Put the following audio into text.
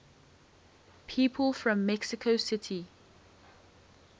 people from mexico city